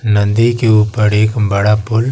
नदी के ऊपर एक बड़ा पुल--